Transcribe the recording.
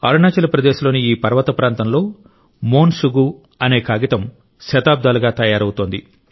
అరుణాచల్ ప్రదేశ్ లోని ఈ పర్వత ప్రాంతంలో మోన్ శుగు అనే కాగితం శతాబ్దాలుగా తయారవుతోంది